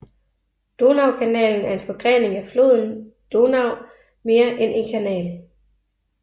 Donaukanalen er en forgrening af floden Donau mere end en kanal